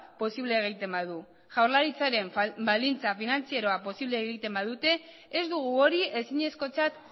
posible egiten badu jaurlaritzaren baldintza finantzieroek posible egiten badute ez dugu hori ezinezkotzat